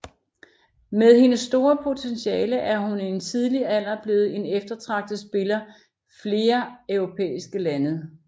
Med hendes store potentiale er hun i en tidlig alder blevet en eftertragtet spiller flere europæiske lande